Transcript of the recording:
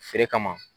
Feere kama